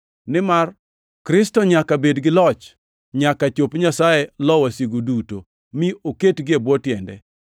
nimar Kristo nyaka bed gi loch nyaka chop Nyasaye lo wasigu duto, mi oketgi e bwo tiende.